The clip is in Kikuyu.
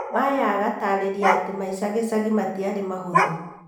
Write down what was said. Maya agatarĩria atĩ maica gĩcagi matiarĩ mahũthũ.